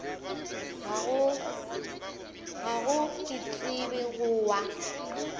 gago ke tseba go wa